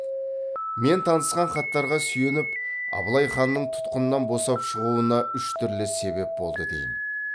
мен танысқан хаттарға сүйеніп абылай ханның тұтқыннан босап шығуына үш түрлі себеп болды деймін